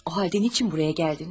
O halda nə üçün buraya gəldiniz?